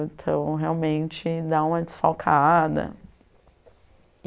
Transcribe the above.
Então, realmente, dá uma desfalcada.